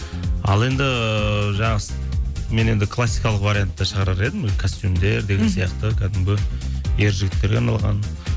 ал енді жаңағы мен енді классикалық вариантта шығарар едім костюмдер деген сияқты кәдімгі ер жігіттерге арналған